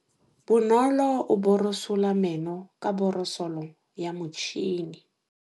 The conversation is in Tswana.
Bonolô o borosola meno ka borosolo ya motšhine.